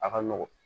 A ka nɔgɔn